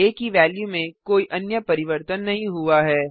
आ की वेल्यू में कोई अन्य परिवर्तन नहीं हुआ है